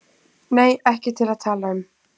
Nei, ekki til að tala um.